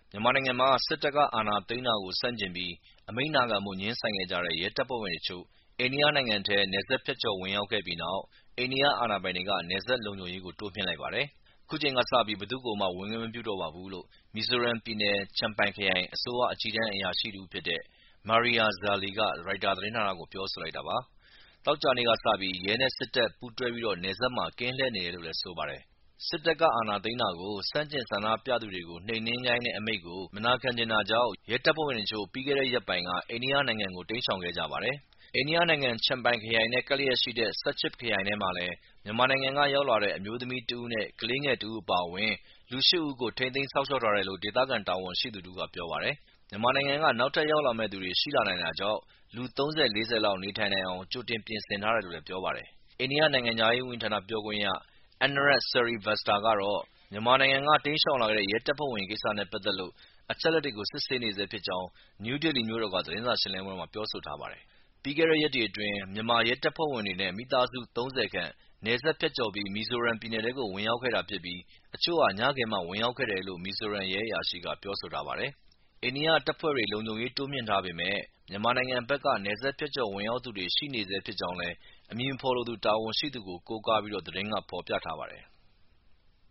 မြန်မာနိုင်ငံမှာ စစ်တပ်က အာဏာသိမ်းတာကို ဆန့်ကျင်ပြီး အမိန့်နာခံဖို့ ငြင်းဆန်ခဲ့ကြတဲ့ ရဲတပ်ဖွဲ့ဝင်တချို့ အိန္ဒိယနိုင်ငံထဲ နယ်စပ်ဖြတ်ကျော် ဝင်ရောက်ခဲ့ပြီးနောက် အိန္ဒိယအာဏာပိုင်တွေက နယ်စပ်လုံခြုံရေး တိုးမြှင့်လိုက်ပါတယ်။ အခုချိန်ကစပြီး ဘယ်သူ့ကိုမှ ဝင်ခွင့်မပြုတော့ပါဘူးလို့ မီဇိုရမ်ပြည်နယ် Champhai ခရိုင် အစိုးရ အကြီးတန်းအရာရှိ တဦးဖြစ်တဲ့ Maria Zuali က ရိုက်တာသတင်းဌာနကို ပြောဆိုလိုက်တာပါ။ သောကြာနေ့ကစပြီး ရဲနဲ့ စစ်တပ် ပူးတွဲပြီး နယ်စပ်မှာ ကင်းလှည့်နေတယ်လို့လည်း ပြောပါတယ်။ စစ်တပ်က အာဏာသိမ်းတာကို ဆန့်ကျင်ဆန္ဒပြသူတွေကို နှိမ်နင်းခိုင်းတဲ့ အမိန့်ကို မနာခံချင်တာကြောင့် ရဲတပ်ဖွဲ့ဝင်တချို့ ပြီးခဲ့တဲ့ ရက်ပိုင်းကပဲ အိန္ဒိယနိုင်ငံကို တိမ်းရှောင်ခဲ့ကြပါတယ်။ အိန္ဒိယနိုင်ငံ Champhai ခရိုင်နဲ့ ကပ်လျက်ရှိတဲ့ Serchhip ခရိုင်ထဲမှာလည်း မြန်မာနိုင်ငံက ရောက်လာတဲ့ အမျိုသမီးတဦးနဲ့ကလေးငယ်တဦးအပါအဝင် လူရှစ်ဦးကို ထိန်းသိမ်းစောင့်လျှောက်ထားတယ်လို့ ဒေသခံတာဝန်ရှိသူ တဦးကပြောပါတယ်။ မြန်မာနိုင်ငံက နောက်ထပ် ရောက်လာမယ့်သူတွေ ရှိနိုင်တာကြောင့် လူ ၃၀ - ၄၀ လောက် နေထိုင်နိုင်အောင် ကြိုတင်ပြင်ဆင်ထားတယ်လို့လည်း ပြောပါတယ်။ အိန္ဒိယ နိုင်ငံခြားရေးဝန်ကြီးဌာန ပြောခွင့်ရ Anurag Srivastava ကတော့ မြန်မာနိုင်ငံက တိမ်းရှောင်လာတဲ့ ရဲတပ်ဖွဲ့ဝင်တွေ ကိစ္စနဲ့ ပတ်သက်လို့ အချက်အလက်တွေကို စစ်ဆေးနေဆဲဖြစ်ကြောင်း နယူးဒေလီမြို့တော်က သတင်းစာရှင်းလင်းပွဲမှာ ပြောဆိုထားပါတယ်။ ပြီးတဲ့ရက်တွေအတွင်း မြန်မာရဲတပ်ဖွဲ့ဝင်တွေနဲ့မိသားစုဝင် ၃၀ ခန့်နယ်စပ်ဖြတ်ကျော်ပြီး မီဇိုရမ်ပြည်ထဲကို ဝင်ရောက်ခဲ့တာဖြစ်ပြီး အချို့ဟာ ညခင်းမှာ ဝင်ရောက်ခဲ့တယ်လို့မီဇိုရမ် ရဲ အရာရှိက ပြောဆိုထားပါတယ်။ အိန္ဒိယတပ်ဖွဲ့တွေ လုံခြုံရေးတိုးမြှင့်ထားပေမဲ့ မြန်မာနိုင်ငံဘက်ကနေ နယ်စပ်ဖြတ်ကျော် ဝင်ရောက်သူတွေ ရှိနေဆဲ ဖြစ်ကြောင်းလည်း အမည်မဖော်လိုသူ တာဝန်ရှိသူကို ကိုးကားပြီး သတင်းက ဖော်ပြထားပါတယ်။